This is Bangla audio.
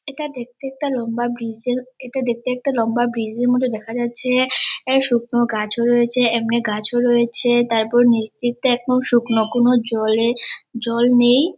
এটা দেখতে একটা লম্বা ব্রিজে এর এটা দেখতে একটা লম্বা ব্রিজ এর মতো দেখা যাচ্ছে এ শুকনো গাছও রয়েছে এমনি গাছও রয়েছে তারপর নিচ দিকটা একদম শুকনো কোন জলে জল নেই।